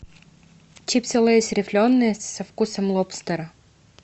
чипсы лейс рифленые со вкусом лобстера